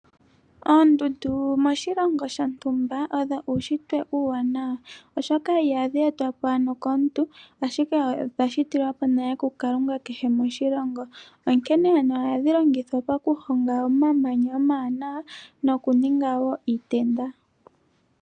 Oondundu moshilongo shontumba odho uushitwe uuwanawa, oshoka ihadhi etwapo ano komuntu, ashike odha shitilwapo nale ku kalunga kehe moshilongo, onkene ohadhi longithwa oku hongitha omamanya omawanawa noku ninga wo iitenda.